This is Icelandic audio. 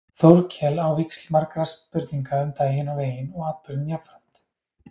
Þórkel á víxl margra spurninga um daginn og veginn og atburðinn jafnframt.